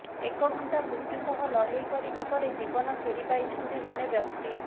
ଏକ ଘଣ୍ଟା ମୃତ୍ୟୁ ସହ ଲଢ଼େଇ କରିବା ପରେ ଜୀବନ ଫେରି ପାଇଛନ୍ତି ଜଣେ ବ୍ୟକ୍ତି